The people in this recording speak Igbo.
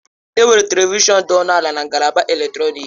Enwere Televishọn dị ọnụ ala na ngalaba eletrọnịkị.